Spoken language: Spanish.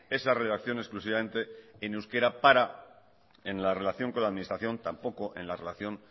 esa redacción exclusivamente en euskera para en la relación con la administración tampoco en la relación